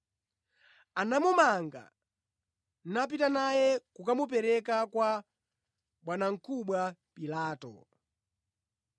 Anamumanga, napita naye kukamupereka kwa bwanamkubwa Pilato.